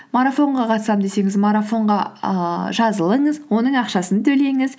марафонға қатысамын десеңіз марафонға ыыы жазылыңыз оның ақшасын төлеңіз